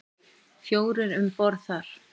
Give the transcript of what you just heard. Fjórir um borð þar.